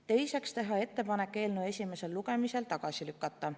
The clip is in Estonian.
Teiseks, teha ettepanek eelnõu esimesel lugemisel tagasi lükata.